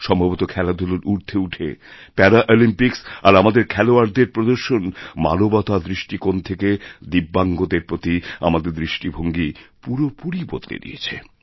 সম্ভবত খেলাধুলোর ঊর্ধেউঠে প্যারাঅলিম্পিক্স আর আমাদের খেলোয়াড়দের প্রদর্শন মানবতার দৃষ্টিকোণ থেকেদিব্যাঙ্গদের প্রতি আমাদের দৃষ্টিভঙ্গী পুরোপুরি বদলে দিয়েছে